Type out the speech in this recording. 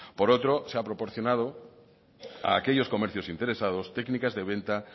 por otro se ha proporcionado a aquellos comercios interesados técnicas de venta